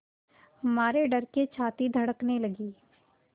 मारे डर के छाती धड़कने लगी